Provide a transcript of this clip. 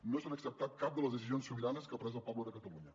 no s’han acceptat cap de les decisions sobiranes que ha pres el poble de catalunya